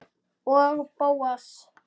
Og Bóas.